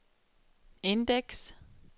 indeks